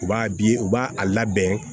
U b'a bi u b'a a labɛn